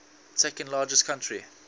second largest country